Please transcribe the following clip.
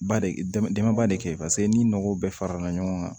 Ba de dama dama ba de kɛ paseke ni nɔgɔ bɛɛ farala ɲɔgɔn kan